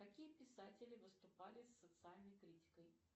какие писатели выступали с социальной критикой